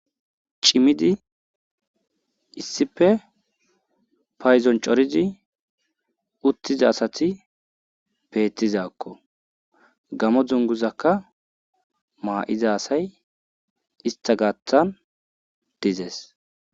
Cimidi issipe payzon corizi uthiza asati beethizakko gamo dunguzakka maa7iza asay istha gaathan dizes.